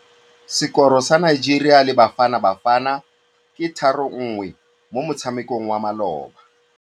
Sekôrô sa Nigeria le Bafanabafana ke 3-1 mo motshamekong wa malôba.